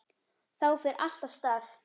Þá fer allt af stað.